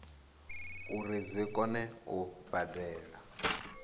uri dzi kone u badela